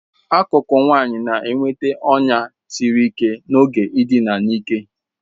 Akụkụ ókè nwanyị na-enweta ọnya siri ike n'oge ịdị a n'ike.